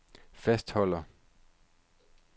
fastholder